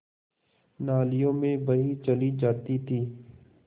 नालियों में बही चली जाती थी